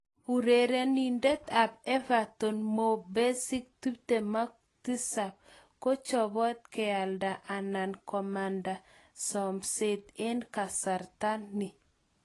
Urerenindet ab Everton Mo Besic, 27, kochobot kealda anan komanda someset eng kasarta ni.